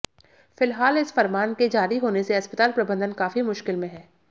फिलहाल इस फरमान के जारी होने से अस्पताल प्रबंधन काफी मुश्किल में है